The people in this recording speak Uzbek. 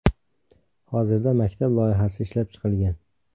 Hozirda maktab loyihasi ishlab chiqilgan.